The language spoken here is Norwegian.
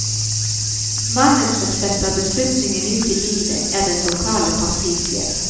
Mannen som setter beslutningen ut i livet, er den lokale partisjef.